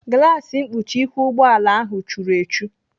Glaasi mkpuchi ihu ụgbọala ahụ churu echu.